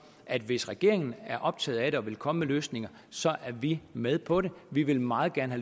at hvis regeringen er optaget af det og vil komme med løsninger er vi med på det vi vil meget gerne